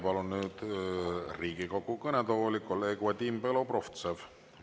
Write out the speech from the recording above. Palun nüüd Riigikogu kõnetooli kolleeg Vadim Belobrovtsevi.